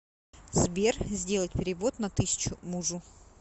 сбер сделать перевод на тысячу мужу